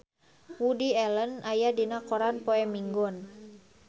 Woody Allen aya dina koran poe Minggon